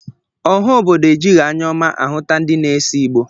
Ọha obodo ejighi anya ọma ahụta ndi na-ese Igbo